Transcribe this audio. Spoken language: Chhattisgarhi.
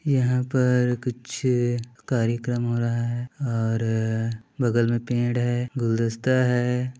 यहाँ पर कुछ कार्यक्रम हो रहा है और बगल में पेड़ है गुलदस्ता हैं ।